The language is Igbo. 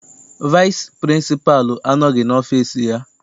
Vaịsị pịrịnsịpalụ anọghị n'ọfịịsi ya.